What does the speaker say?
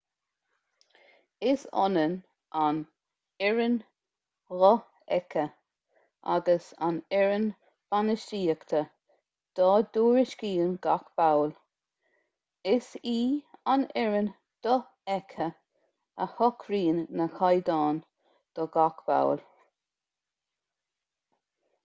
is ionann an fhoireann dhofheicthe agus an fhoireann bainistíochta dá dtuairiscíonn gach ball is í an fhoireann dhofheicthe a shocraíonn na caighdeáin do gach ball